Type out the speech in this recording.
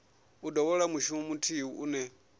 u dovholola mushumo muthihi une